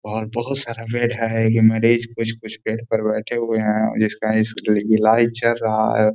बाहर बोहुत सारा बेड है। ये मरीज़ कुछ-कुछ बेड पर बैठे हुए हैं और जिसका ईलाज चल रहा है।